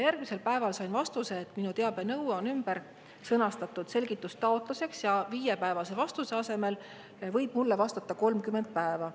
Järgmisel päeval sain vastuse, et minu teabenõue on ümber sõnastatud selgitustaotluseks ja viiepäevase vastuse asemel võib mulle vastata 30 päeva.